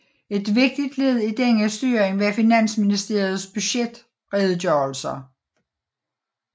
Et vigtigt led i denne styring var Finansministeriets budgetredegørelser